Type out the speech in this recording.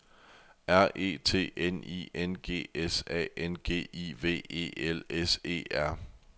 R E T N I N G S A N G I V E L S E R